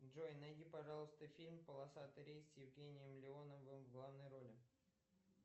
джой найди пожалуйста фильм полосатый рейс с евгением леоновым в главной роли